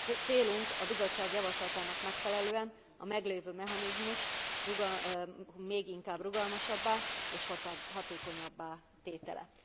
Célunk, a Bizottság javaslatának megfelelően, a meglévő mechanizmus még inkább rugalmasabbá és hatékonyabbá tétele.